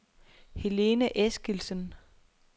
Helene Eskildsen